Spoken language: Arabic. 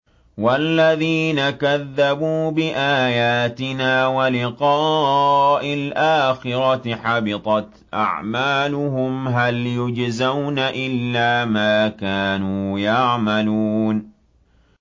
وَالَّذِينَ كَذَّبُوا بِآيَاتِنَا وَلِقَاءِ الْآخِرَةِ حَبِطَتْ أَعْمَالُهُمْ ۚ هَلْ يُجْزَوْنَ إِلَّا مَا كَانُوا يَعْمَلُونَ